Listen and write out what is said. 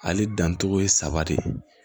Ale dancogo ye saba de ye